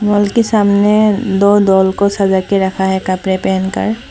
mall के सामने दो डॉल को सजा के रखा है कपड़े पहनकर--